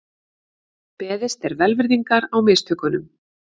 Beðist er velvirðingar á mistökunum